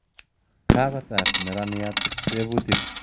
Kakotar neraniat tebutik